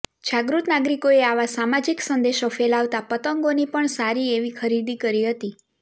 જાગૃત નાગરિકોએ આવા સામાજિક સંદેશો ફેલાવતાં પતંગોની પણ સારી એવી ખરીદી કરી હતી